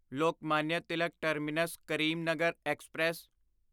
Lokmanya Tilak terminus Karimnagar express